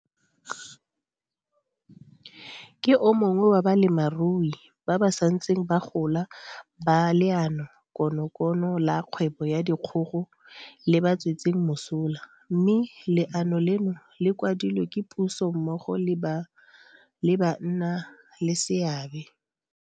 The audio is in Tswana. Ke o mongwe wa balemirui ba ba santseng ba gola ba Leanokonokono la Kgwebo ya Dikgogo le ba tswetseng mosola, mme le ano leno le kwadilwe ke puso mmogo le bannaleseabe.